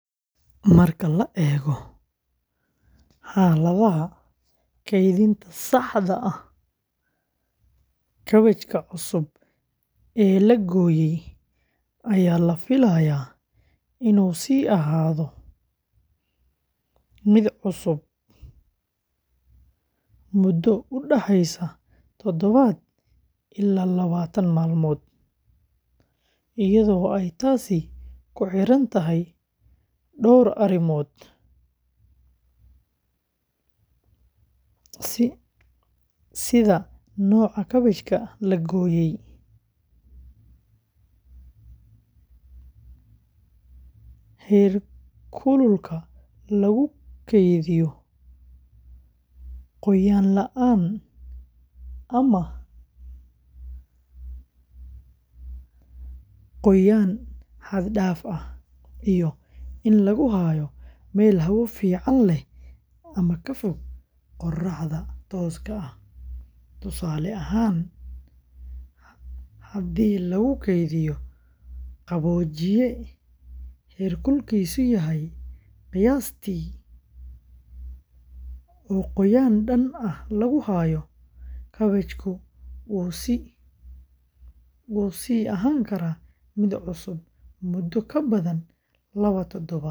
Marka la eego xaaladaha kaydinta saxda ah, kaabajka cusub ee la gooyey ayaa la filayaa inuu sii ahaado mid cusub muddo u dhexeysa toddoba ilaa labaatan maalmood, iyadoo ay taasi ku xiran tahay dhowr arrimood sida nooca kaabajka la gooyey, heerkulka lagu kaydiyo, qoyaan la’aan ama qoyaan xad dhaaf ah, iyo in lagu hayo meel hawo fiican leh oo ka fog qorraxda tooska ah; tusaale ahaan, haddii lagu kaydiyo qaboojiye heerkulkiisu yahay qiyaastii, oo qoyaan dhan ah lagu hayo, kaabajku wuu sii ahaan karaa mid cusub muddo ka badan laba toddobaad.